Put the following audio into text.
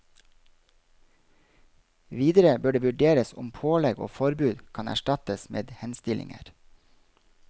Videre bør det vurderes om pålegg og forbud kan erstattes med henstillinger.